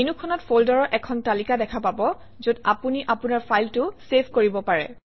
মেনুখনত ফল্ডাৰৰ এখন তালিকা দেখা পাব যত আপুনি আপোনাৰ ফাইলটো চেভ কৰিব পাৰে